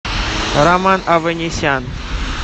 роман аванесян